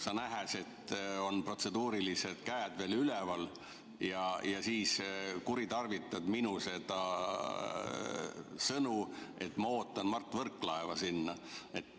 Sa näed, et protseduuriliste küsimuste kohta on käed veel üleval, ja siis kuritarvitad minu sõnu, et ma ootan Mart Võrklaeva sinna.